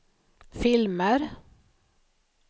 filmer